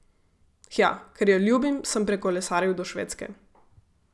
Hja, ker jo ljubim, sem prikolesaril do Švedske.